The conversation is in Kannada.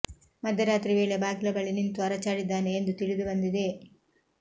ಮಧ್ಯರಾತ್ರಿ ವೇಳೆ ಬಾಗಿಲ ಬಳಿ ನಿಂತು ಅರಚಾಡಿದ್ದಾನೆ ಎಂದು ತಿಳಿದು ಬಂದಿದೆ